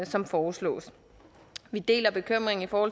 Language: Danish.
som foreslås vi deler bekymringen for